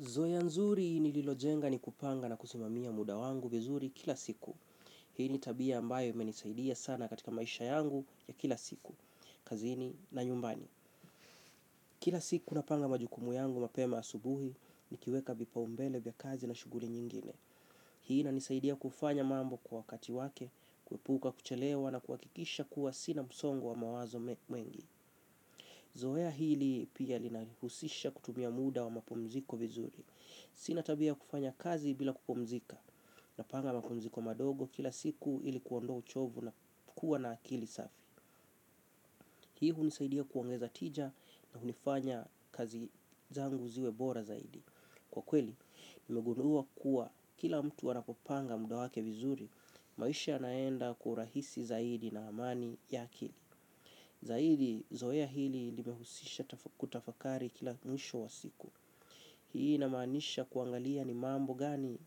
Zoea nzuri nililojenga ni kupanga na kusimamia muda wangu vizuri kila siku. Hii ni tabia ambayo imenisaidia sana katika maisha yangu ya kila siku, kazini na nyumbani. Kila siku napanga majukumu yangu mapema asubuhi, nikiweka vipaumbele vya kazi na shughuli nyingine. Hii ina nisaidia kufanya mambo kwa kati wake, kuepuka kuchelewa na kuakikisha kuwa sina msongo wa mawazo mengi. Zoea hili pia linanihusisha kutumia muda wa mapumziko vizuri. Sina tabia ya kufanya kazi bila kupumzika na panga mapumziko madogo kila siku ilikuondoa uchovu na kuwa na akili safi. Hii hunisaidia kuongeza tija na hunifanya kazi zangu ziwebora zaidi. Kwa kweli, nimegundua kuwa kila mtu anapopanga muda wake vizuri maisha yanaenda kwa urahisi zaidi na amani ya akili. Zaidi, zoea hili nimehusisha kutafakari kila mwisho wa siku. Hii ina maanisha kuangalia ni mambo gani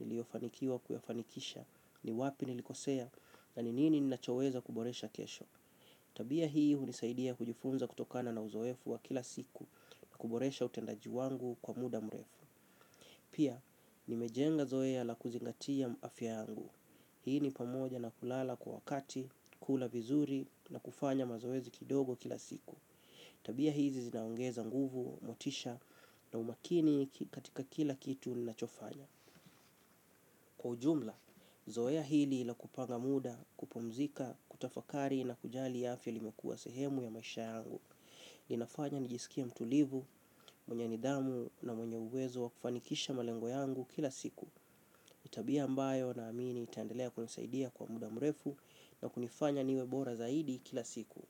niliofanikiwa kuyafanikisha, ni wapi nilikosea, na ni nini ninachoweza kuboresha kesho. Tabia hii hunisaidia kujifunza kutokana na uzoefu wa kila siku na kuboresha utendaji wangu kwa muda mrefu. Pia, nimejenga zoea la kuzingatia afya yangu. Hii ni pamoja na kulala kwa wakati, kula vizuri na kufanya mazoezi kidogo kila siku. Tabia hizi zinaongeza nguvu, motisha na umakini katika kila kitu ninachofanya. Kwa ujumla, zoea hili la kupanga muda, kupumzika, kutafakari na kujali afya limekua sehemu ya maisha yangu. Linafanya nijisikie mtulivu, mwenye nidhamu na mwenye uwezo wa kufanikisha malengo yangu kila siku. Ni tabia mbayo na amini itaendelea kunisaidia kwa muda mrefu na kunifanya niwebora zaidi kila siku.